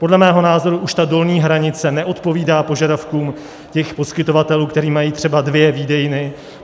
Podle mého názoru už ta dolní hranice neodpovídá požadavkům těch poskytovatelů, kteří mají třeba dvě výdejny.